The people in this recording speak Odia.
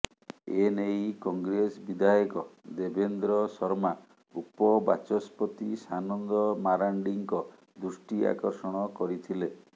ଏ ନେଇ କଂଗ୍ରେସ ବିଧାୟକ ଦେବେନ୍ଦ୍ର ଶର୍ମା ଉପ ବାଚସ୍ପତି ସାନନ୍ଦ ମାରାଣ୍ଡିଙ୍କ ଦୃଷ୍ଟି ଆକର୍ଷଣ କରିଥିଲେ